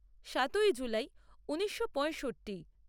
সাতই জুলাই ঊনিশো পঁয়ষট্টি